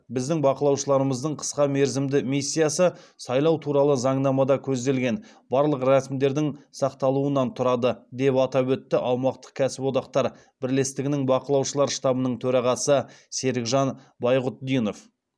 біздің бақылаушыларымыздың қысқа мерзімді миссиясы сайлау туралы заңнамада көзделген барлық рәсімдердің сақталуынан тұрады деп атап өтті аумақтық кәсіподақтар бірлестігінің бақылаушылар штабының төрағасы серікжан байғұтдинов